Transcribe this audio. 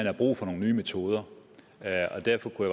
er brug for nogle nye metoder og derfor kunne